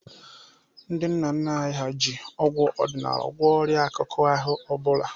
Ndị nna nna anyị ha ji ọgwụ ọdịnala gwọọ ọrịa akụkụ ahụ ọ bụla.